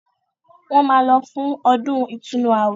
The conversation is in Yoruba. Wọ́n máa lọ fún “ ọdún ìtúnu ààwẹ̀”